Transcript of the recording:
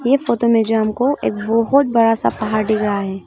इस फोटो में जो हमको एक बहुत बड़ा सा पहाड़ दिख रहा है।